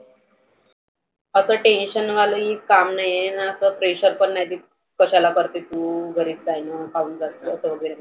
आता tension वाले काम नाहिए ना pressure पन नाही. कशाला करते तु? घरीच रहाय ना काहुन जाते वगैरे.